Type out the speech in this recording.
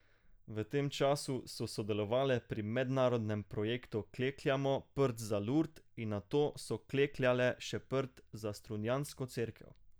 V tem času so sodelovale pri mednarodnem projektu Klekljamo prt za Lurd in nato so klekljale še prt za strunjansko cerkev.